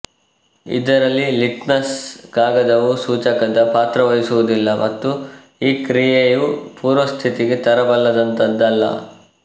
ಇದರಲ್ಲಿ ಲಿಟ್ಮಸ್ ಕಾಗದವು ಸೂಚಕದ ಪಾತ್ರವಹಿಸುವುದಿಲ್ಲ ಮತ್ತು ಈ ಕ್ರಿಯೆಯು ಪೂರ್ವಸ್ಥಿತಿಗೆ ತರಬಲ್ಲದಂತದ್ದಲ್ಲ